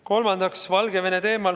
Kolmandaks, Valgevene teema.